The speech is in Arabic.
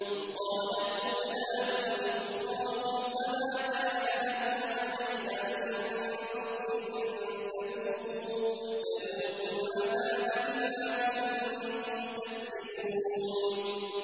وَقَالَتْ أُولَاهُمْ لِأُخْرَاهُمْ فَمَا كَانَ لَكُمْ عَلَيْنَا مِن فَضْلٍ فَذُوقُوا الْعَذَابَ بِمَا كُنتُمْ تَكْسِبُونَ